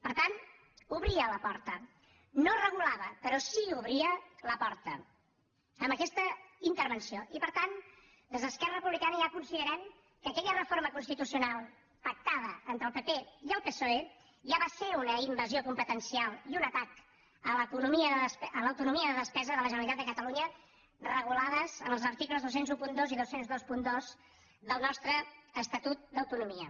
per tant obria la porta no regulava però sí que obria la porta a aquesta intervenció i per tant des d’esquerra republicana ja considerem que aquella reforma constitucional pactada entre el pp i el psoe ja va ser una invasió competencial i un atac a l’autonomia de despesa de la generalitat de catalunya regulada en els articles dos mil dotze i dos mil vint dos del nostre estatut d’autonomia